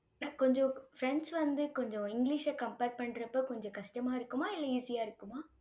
கொஞ்சம் பிரெஞ்சு வந்து கொஞ்சம் இங்கிலிஷை compare பண்றப்ப கொஞ்சம் கஷ்டமா இருக்குமா இல்லை easy ஆ இருக்குமா?